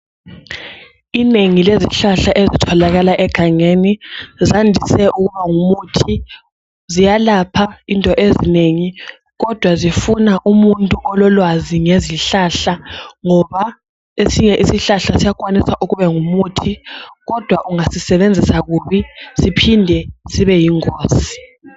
Inengi lezihlahla ezitholakala egangeni zandise ukuba ngumuthi ziyalapha izinto ezinengi kodwa zifuna umuntu ololwazi ngezihlahla ngoba esinye isihlahla siyakwanisa ukuba ngumuthi kodwa ungasisebenzisa kubi siphinde sibe yingozi.